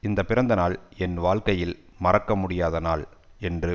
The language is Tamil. இந்த பிறந்தநாள் என் வாழ்க்கையில் மறக்க முடியாத நாள் என்று